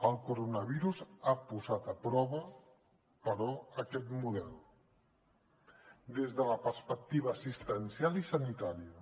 el coronavirus ha posat a prova però aquest model des de la perspectiva assistencial i sanitària